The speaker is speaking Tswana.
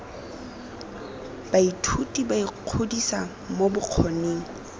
baithuti ba ikgodisa mo bokgoning